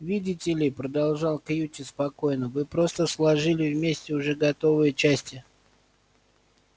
видите ли продолжал кьюти спокойно вы просто сложили вместе уже готовые части